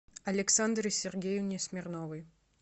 александре сергеевне смирновой